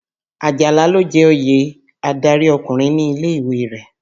Àjàlá ló jẹ oyè adárí ọkùnrin ní ilé-ìwé rẹ̀.